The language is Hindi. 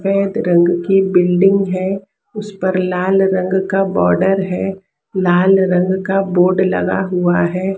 सफेद रंग की बिल्डिंग है। उस पर लाल रंग का बॉर्डर है। लाल रंग का बोर्ड लगा हुआ है।